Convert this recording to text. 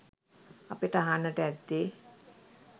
අපට අහන්නට ඇත්තේ